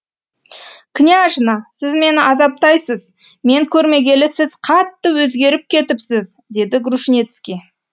княжна сіз мені азаптайсыз мен көрмегелі сіз қатты өзгеріп кетіпсіз деді грушницкий